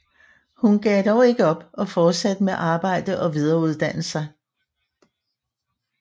Hun gav dog ikke op og fortsatte med arbejde og videreuddanne sig